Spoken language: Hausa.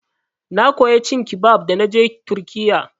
Na koya cin kibab da naje turkiyya.